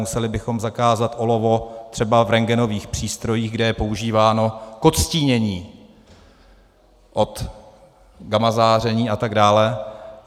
Museli bychom zakázat olovo třeba v rentgenových přístrojích, kde je používáno k odstínění od gamazáření, a tak dále.